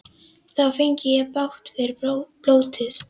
Þá fengi ég bágt fyrir blótið.